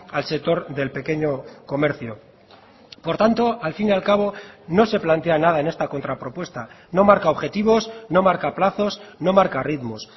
al sector del pequeño comercio por tanto al fin y al cabo no se plantea nada en esta contra propuesta no marca objetivos no marca plazos no marca ritmos